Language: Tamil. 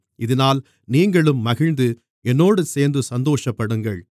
இதினால் நீங்களும் மகிழ்ந்து என்னோடு சேர்ந்து சந்தோஷப்படுங்கள்